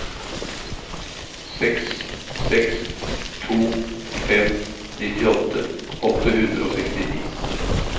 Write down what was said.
seks seks to fem nittiåtte åtte hundre og sekstini